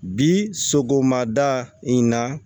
Bi sogomada in na